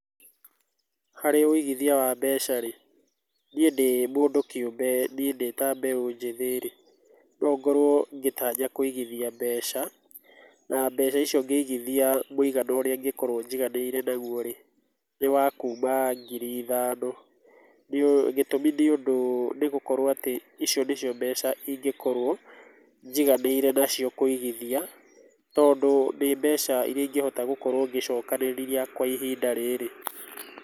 Harĩ wĩigithia wa mbeca rĩ ,niĩ ndĩ mũndũ kĩũmbe niĩ ndĩta mbeo njĩthĩ rĩ nongorwo gĩtanya kwĩgithia mbeca na mbeca icio ũngĩithia mwĩgana ũrĩa ingĩkorwo njiganĩire nagũo rĩ ,nĩ wakuma ngiri ithano, gĩtũmi nĩ ũndũ nĩgũkorwo icio atĩ nĩcio mbeca ingĩkorwo njiganĩire nacio kũigithia tondũ nĩ mbeca ĩria ingĩhota gũkorwo ngĩcokanĩrĩria kwa ihinda rĩrĩ.